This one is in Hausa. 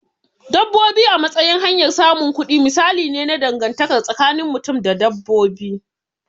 Dabbobi a matsayin hanyar samun kudi misali ne na dangantaka tsakinin mutum da dabbobi.